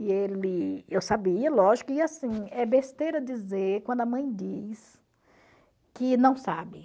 E ele... Eu sabia, lógico, e assim, é besteira dizer quando a mãe diz que não sabe.